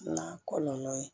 N'a kɔlɔlɔ ye